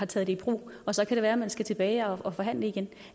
taget i brug og så kan det være man skal tilbage og forhandle igen